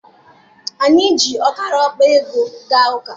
Anyị ji ọkara akpa ego gaa ụka.